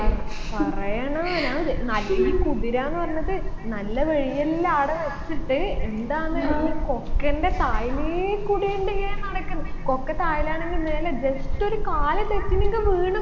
അഹ് പറയണോ ഞാൻ ദെ നല്ലി കുതിരാന്ന് പറഞ്ഞത് നല്ല വഴിയെല്ലും ആട വെച്ചിട്ട് എന്താണ് ഒരു കൊക്കൻറെ താഴിലെക്കൂടി ഉണ്ട് ഇങ്ങനെ നടക്കുന്ന് കൊക്ക താഴിലാണെങ്കിൽ മേലെ just ഒരു കാല് തെറ്റിനെങ്കി വീണ്